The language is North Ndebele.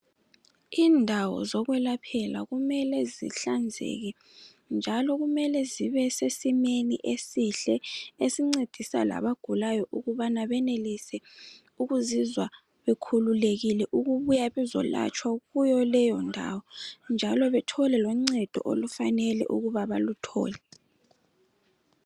Indawo zokwelaphela kumele zihlanzeke, njalo kumele zibe sesimeni esihle. Esincedisa labagulayo, ukubana benelise ukuzizwa bekhululekile ukubuya bezekwelatshwa kuyo leyondawo, njalo bathole loncedo okufanele baluthole.